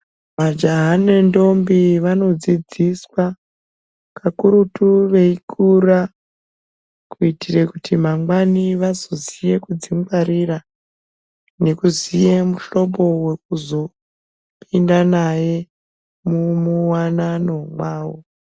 Majaha nentombi vanodzidziswa kakurutu veikura kuitire kuti mangwani vazoziye kudzingwarira nekuziye muhlobo wekuzopinda naye muwanano mwawo.